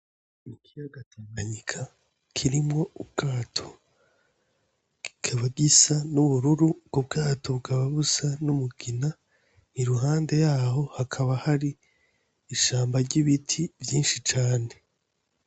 Ikiyaga Tanganyika kirimwo ubwato kikaba gisa n' ubururu ubwo bwato bukaba busa n' umugina iruhande yaho hakaba hari ishamba ry' ibiti vyinshi cane.